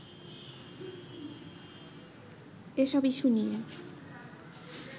এসব ইস্যুনিয়ে